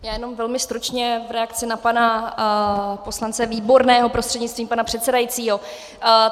Já jenom velmi stručně v reakci na pana poslance Výborného prostřednictvím pana předsedajícího.